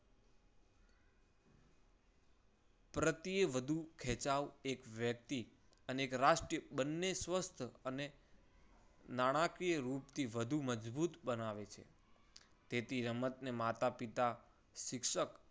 પ્રત્યે વધુ ખેંચાવો એક વ્યક્તિ અને એક રાષ્ટ્ર બંને સ્વસ્થ અને નાણાકીય રૂપ થી વધુ મજબૂત બનાવે છે. તેથી રમતને માતા-પિતા, શિક્ષક